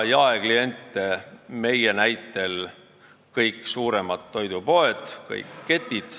Jaekliendid on meie näitel kõik suuremad toidupoed, kõik ketid.